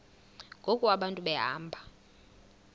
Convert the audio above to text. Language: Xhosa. ngoku abantu behamba